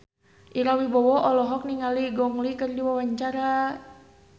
Ira Wibowo olohok ningali Gong Li keur diwawancara